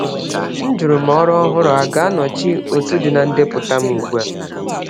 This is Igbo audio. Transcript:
M jụrụ ma ọrụ ọhụrụ a ga-anọchi otu dị na ndepụta m ugbu a.